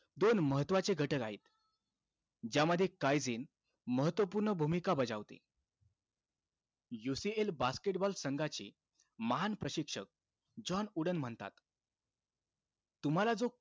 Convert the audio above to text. दोन महत्वाचे घटक आहेत. ज्यामध्ये काईझेन महत्वपूर्ण भूमिका बजावते. UCL basketball संघाची महान प्रशिक्षक जॉन वूडन म्हणतात, तुम्हाला जो,